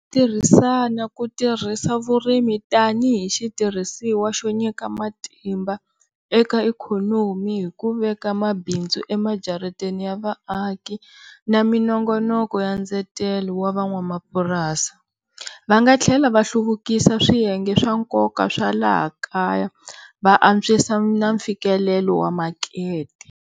Tirhisana ku tirhisa vurimi tanihi xitirhisiwa xo nyika matimba eka ikhonomi hi ku veka mabindzu emajarateni ya vaaki na minongonoko ya ndzetelo wa van'wamapurasi. Va nga tlhela va hluvukisa swiyenge swa nkoka swa laha kaya, va antswisa na mfikelelo makete.